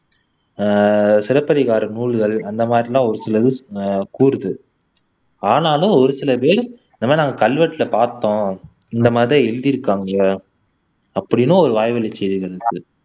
ஆஹ் சிலப்பதிகார நூல்கள் அந்த மாதிரிலாம் ஒரு சிலது கூறுது ஆனாலும் ஒரு சில பேர் இந்த மாதிரி நாங்க கல்வெட்டுல பார்த்தோம் இந்த மாதிரி தான் எழுதிருக்காங்க அப்படின்னும் ஒரு வாய் வழி செய்திகள் இருக்கு